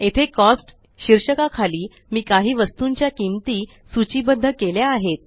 येथे कॉस्ट शीर्षका खाली मी काही वस्तूंच्या किंमती सूचीबद्ध केल्या आहेत